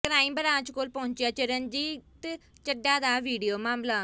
crime branch ਕੋਲ ਪਹੁੰਚਿਆ ਚਰਨਜੀਤ ਚੱਢਾ ਦਾ ਵੀਡੀਓ ਮਾਮਲਾ